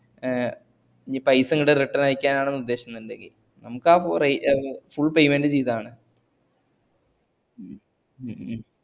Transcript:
ഏ ഇനി പൈസങ്ങ്ട്ട് return അയക്കാനാണ് ഉദ്ധേശന്ന്ണ്ടങ്കി നമ്മക്കാ four full payment ഉം ചെയ്‌താതി ഹും